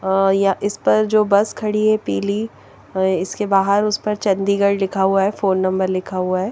अह या इस पर जो बस खड़ी है पीली इसके बाहर इस पर चंडीगढ़ लिखा हुआ है फोन नंबर लिखा हुआ है ।